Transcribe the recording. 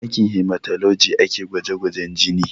A sashen hematology ake gwaje gwajen jini